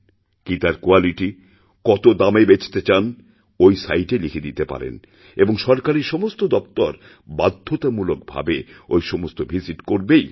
কি তার কোয়ালিটি কত দামে বেচতে চান ঐ সাইটে লিখেদিতে পারেন এবং সরকারী সমস্ত দফতর বাধ্যতামূলক ভাবে ঐ সমস্ত ভিজিট করবেই